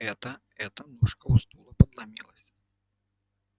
это это ножка у стула подломилась